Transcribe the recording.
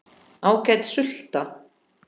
Ágæt sulta.